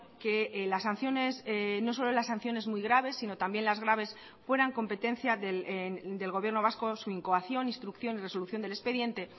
que las sanciones no solo las sanciones muy graves sino también las graves fueran competencia del gobierno vasco su incoación instrucción y resolución del expediente